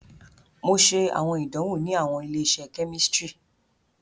Mo ṣe awọn idanwo ni awọn ile-iṣẹ kemistri.